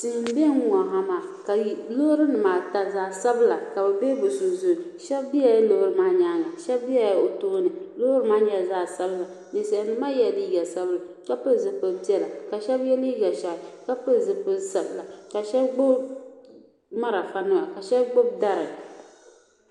Tihi m be n ŋɔ ha maa Loori nima ata zaɣa sabila ka bɛ be bɛ sunsuuni sheba bela loori maa nyaanga sheba bela p tooni loori maa nyɛla zaɣa sabinli ninsalinima maa yela liiga sabinli sheba ye liiga ʒehi ka pili zipil'sabila ka sheba gbibi marafa nima ka sheba gbibi dari.